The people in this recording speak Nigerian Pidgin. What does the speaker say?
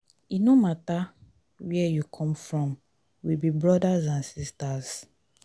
e no mata where you come from we be brodas and sistas.